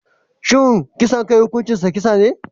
Shin kisan kai hukuncinsa kisa ne?